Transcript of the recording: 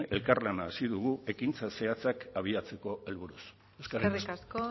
elkarlan hasi dugu ekintza zehatzak abiatzeko helburuz eskerrik asko